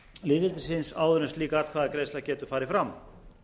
lýðveldisins áður en slík atkvæðagreiðsla getur farið fram